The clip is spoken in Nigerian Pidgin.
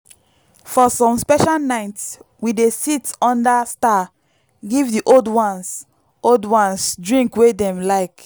for some special night we dey sit under star give the old ones old ones drink wey dem like.